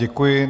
Děkuji.